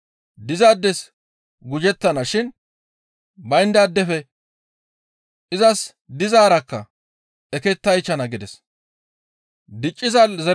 Dizaades gujettana shin bayndaadefe izas dizaarakka ekketaychchana» gides.